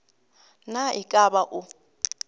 na e ka ba o